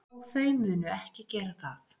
Og þau munu ekki gera það.